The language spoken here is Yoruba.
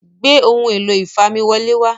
gbé Ohun èlò ìfamiwọlé wá